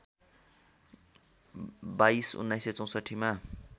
२२ १९६४ मा